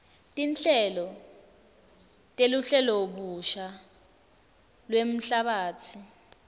tinhlelo teluhlelobusha lwemhlabatsi